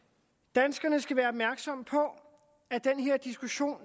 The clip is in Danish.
danskerne skal være opmærksomme på at den her diskussion